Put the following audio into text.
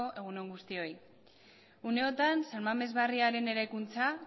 egun on guztioi une honetan san mames barriaren eraikuntza